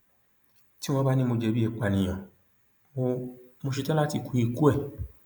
tí wọn bá ní mo jẹbi ìpànìyàn mo mo ṣetán láti kú ikú ẹ